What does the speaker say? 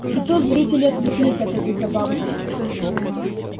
и тут зрители отвлеклись от этой забавы